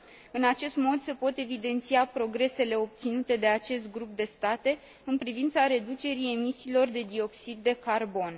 În acest mod, se pot evidenția progresele obținute de acest grup de state în privința reducerii emisiilor de dioxid de carbon.